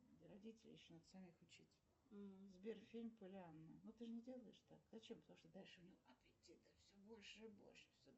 сбер фильм полиана